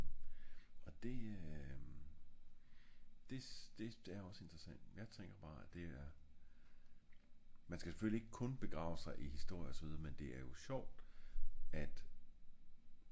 og det øhm det er det er ogs interessant jeg tænker bare det er man skal selvfølgelig ikke kun begrave sig i historie og så videre men det er jo sjovt at